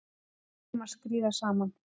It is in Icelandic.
Við erum að skríða saman